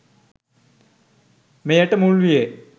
මෙයට මුල්විය.